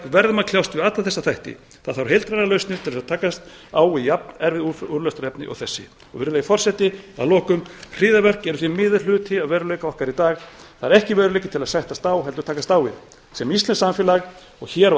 verðum að kljást við alla þessa þætti það þarf heildrænar lausnir til að takast á við jafn erfið úrlausnarefni og þessi virðulegi forseti að lokum hryðjuverk eru því miður hluti af veruleika okkar í dag það er ekki veruleiki til að sættast á heldur takast á við sem íslenskt samfélag og hér á